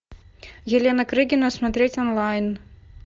елена крыгина смотреть онлайн